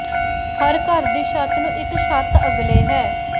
ਹਰ ਘਰ ਦੀ ਛੱਤ ਨੂੰ ਇੱਕ ਛੱਤ ਅਗਲੇ ਹੈ